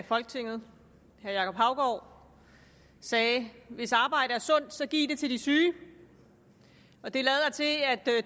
folketinget herre jacob haugaard sagde hvis arbejde er sundt så giv det til de syge og det lader til at